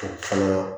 O fana